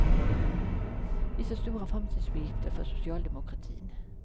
Vi ser stora framtidsuppgifter för socialdemokratin.